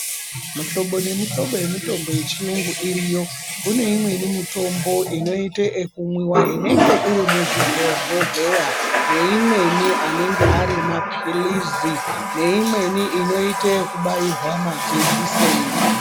Muhlobo nemuhlobo yemitombo yechiyungu iriyo. Kune imweni mitombo inoite ekumwiwa inenge iri muzvibhohleya, neimweni anenge ari maphilizi neimweni inoite yekubairwa majekiseni.